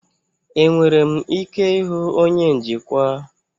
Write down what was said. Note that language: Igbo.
Enwere m ike ịhụ onye njikwa?